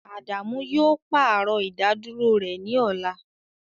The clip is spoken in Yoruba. Adamu yoo paarọ idaduro rẹ ni ọla